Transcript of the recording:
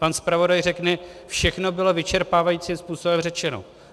Pan zpravodaj řekne, všechno bylo vyčerpávajícím způsobem řečeno.